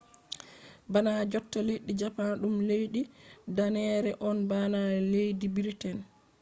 bana jotta leddi japan ɗum leddi danneere on bana leddi briten